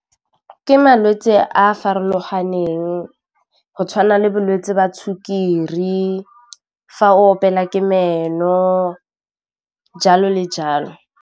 Ke malwetse a a farologaneng go tshwana le bolwetse jwa sukiri fa opela ke meno jalo le jalo.